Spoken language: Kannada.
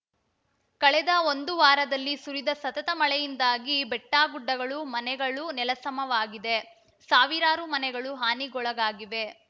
ಕಳೆದ ಒಂದು ವಾರದಲ್ಲಿ ಸುರಿದ ಸತತ ಮಳೆಯಿಂದಾಗಿ ಬೆಟ್ಟಗುಡ್ಡಗಳು ಮನೆಗಳು ನೆಲಸಮವಾಗಿದೆ ಸಾವಿರಾರು ಮನೆಗಳು ಹಾನಿಗೊಳಗಾಗಿವೆ